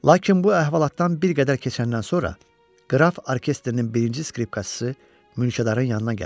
Lakin bu əhvalatdan bir qədər keçəndən sonra qraf orkestrin birinci skripkaçısı mülkədarın yanına gəlir.